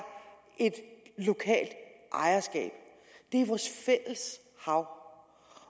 et lokalt ejerskab det er vores fælles hav